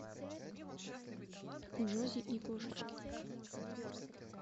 джози и кошечки